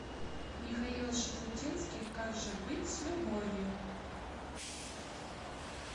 михаил шуфутинский как же быть с любовью